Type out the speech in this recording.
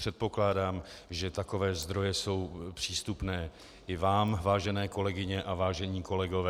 Předpokládám, že takové zdroje jsou přístupné i vám, vážené kolegyně a vážení kolegové.